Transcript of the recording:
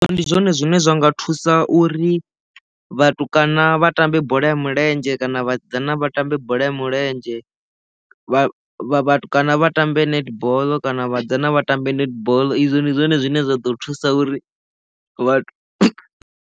Ndi zwone zwine zwa nga thusa uri vhatukana vha tambe bola ya milenzhe kana vhasidzana vha tambe bola ya milenzhe vha vhatukana vha tambe netball kana vhasidzana vha tambe netball izwo ndi zwone zwine zwa ḓo thusa uri vha.